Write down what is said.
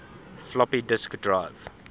floppy disk drive